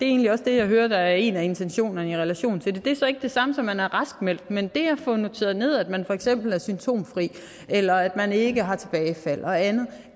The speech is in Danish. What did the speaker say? egentlig også det jeg hører er en af intentionerne i relation til det det er så ikke det samme som at man er raskmeldt men det at få noteret ned at man for eksempel er symptomfri eller at man ikke har tilbagefald og andet